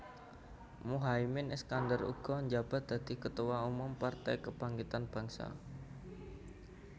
Muhaimin Iskandar uga njabat dadi Ketua Umum Partai Kebangkitan Bangsa